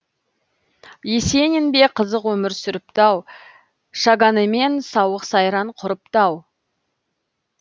есенин бе қызық өмір сүріпті ау шаганэмен сауық сайран құрыпты ау